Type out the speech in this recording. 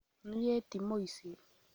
Niĩ ti mũici